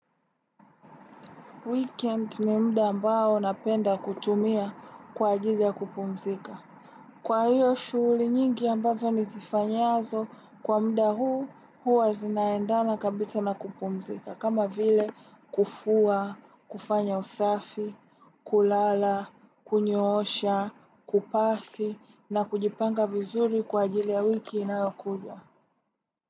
Weekend ni mda ambao napenda kutumia kwa ajili ya kupumzika. Kwa hiyo shughuli nyingi ambazo nizifanyazo kwa mda huu huwa zinaendana kabisa na kupumzika. Kama vile kufua, kufanya usafi, kulala, kunyoosha, kupasi na kujipanga vizuri kwa ajili ya wiki inayokuja.